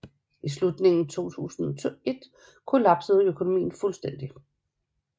I slutningen af 2001 kollapsede økonomien fuldstændig